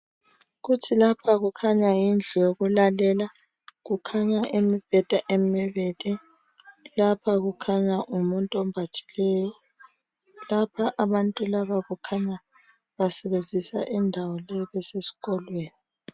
Kuthi lapha kukhanya indlu yokulalela, kukhanya imibheda emibili. Lapha kukhanya ngumuntu ombathileyo. Lapha abantu laba kukhanya basebenzisa indawo leyi besesikolweni.